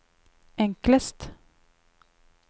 enklest